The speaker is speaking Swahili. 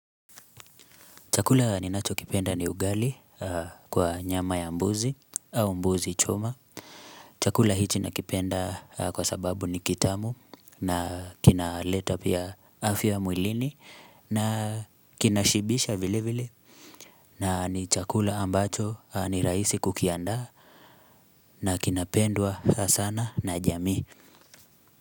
Chakula ninacho kipenda ni ugali kwa nyama ya mbuzi au mbuzi choma. Chakula hichi nakipenda kwa sababu ni kitamu na kinaleta pia afya mwilini na kinashibisha vile vile. Na ni chakula ambacho ni rahisi kukiandaa na kinapendwa sana na jamii.